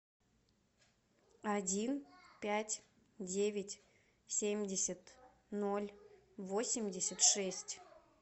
один пять девять семьдесят ноль восемьдесят шесть